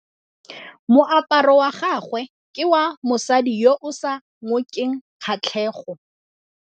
Moaparô wa gagwe ke wa mosadi yo o sa ngôkeng kgatlhegô.